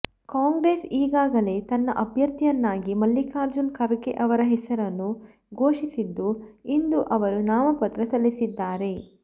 ಕಾಂಗ್ರೆಸ್ ಈಗಾಗಲೇ ತನ್ನ ಅಭ್ಯರ್ಥಿಯನ್ನಾಗಿ ಮಲ್ಲಿಕಾರ್ಜುನ ಖರ್ಗೆ ಅವರ ಹೆಸರನ್ನು ಘೋಷಿಸಿದ್ದು ಇಂದು ಅವರು ನಾಮಪತ್ರ ಸಲ್ಲಿಸಿದ್ದಾರೆ